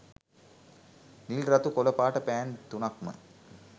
නිල් රතු කොල පාට පෑන් තුනක්ම